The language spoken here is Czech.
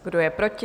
Kdo je proti?